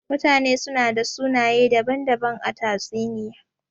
Mutane su na da sunaye daban-daban a tatsuniya.